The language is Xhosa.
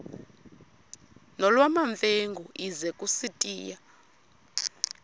nolwamamfengu ize kusitiya